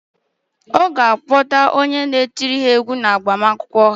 Ọ ga-akpọta onye ga-etiri ha égwú n' agbamakwụkwọ ha.